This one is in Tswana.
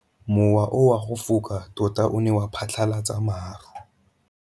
Mowa o wa go foka tota o ne wa phatlalatsa maru.